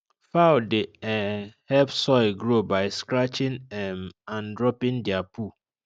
fowl dey um help soil grow by scratching um and dropping their poo